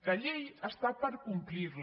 la llei està per complir la